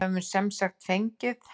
Við höfum semsagt ekki fengið.